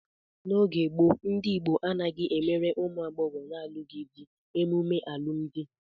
N'oge gboo, ndị Igbo anaghị emere ụmụ agbọghọ na-alụghị di emume alụmdi.